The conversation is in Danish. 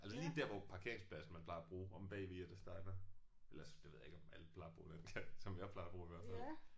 Altså lige der hvor parkeringspladsen man plejer at bruge omme bagved Jettes Diner eller det ved jeg ikke om alle plejer at bruge den. Som jeg plejer at bruge i hvert fald